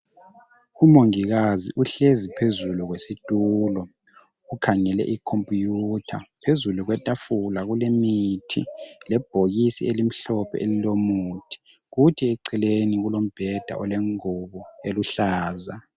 Umongikazi uhlezi phezulu kwesitulo ukhangele ikhompuyutha, phezulu kwetafula kule mithi lebhokisi elimhlophe elilomuthi, kuthi eceleni kulombheda olengubo eluhlaza.